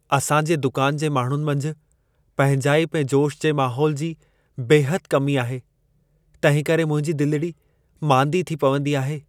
असांजे दुकान जे माण्हुनि मंझि पंहिंजाइप ऐं जोश जे महोल जी बेहदि कमी आहे। तंहिंकरे मुंहिंदी दिलिड़ी मांदी थी पवंदी आहे।